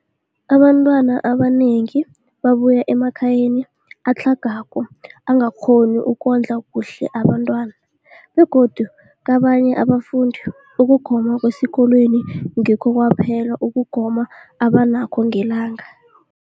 Abantwana abanengi babuya emakhaya atlhagako angakghoni ukondla kuhle abentwana, begodu kabanye abafundi, ukugoma kwesikolweni ngikho kwaphela ukugoma abanakho ngelanga.